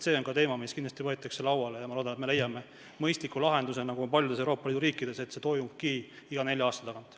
See on ka teema, mis võetakse kindlasti lauale, ja ma loodan, et me leiame mõistliku lahenduse, nagu on otsustatud paljudes Euroopa Liidu riikides, et see toimubki iga nelja aasta tagant.